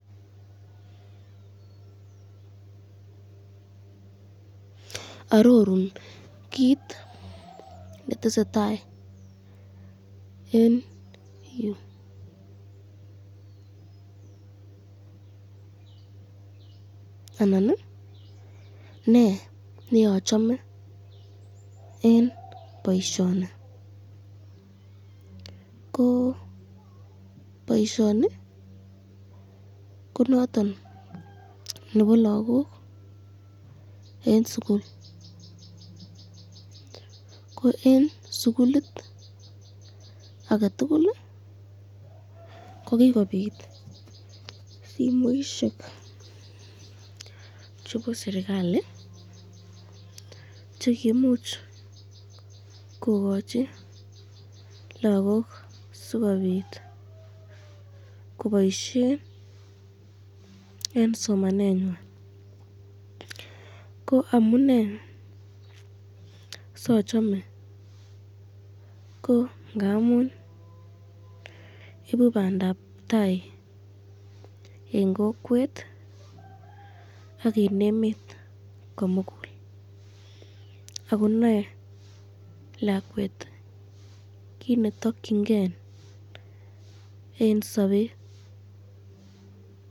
Arorun kit netesetai eng yu, anan ne yeachsme eng boisyoni ko noton nebo lagok eng sukul ko eng sukulit aketukul ko kikobit simoisyek chebo sirikali chekiimuch kokochi lagok sikobit koboisyen eng somanentwan ko amune sachome ko ngamun ibu bandabtai eng kokwet ak eng emet komukul ako nae lakwet kit nemakyinken eng sabet.